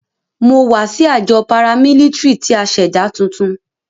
Mo wa si ajọ paramilitary ti a ṣẹda tuntun.